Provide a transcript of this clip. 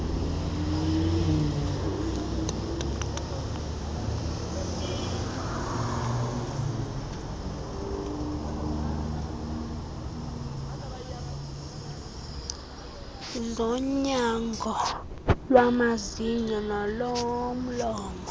zonyango lwamazinyo nolomlomo